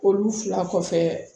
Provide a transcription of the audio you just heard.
Olu fila kɔfɛ